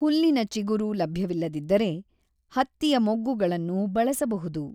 ಹುಲ್ಲಿನ ಚಿಗುರು ಲಭ್ಯವಿಲ್ಲದಿದ್ದರೆ ಹತ್ತಿಯ ಮೊಗ್ಗುಗಳನ್ನು ಬಳಸಬಹುದು.